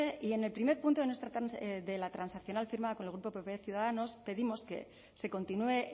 y en el primer punto de nuestra de la transaccional firmada con el grupo pp ciudadanos pedimos que se continúe